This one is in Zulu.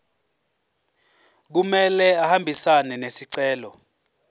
kumele ahambisane nesicelo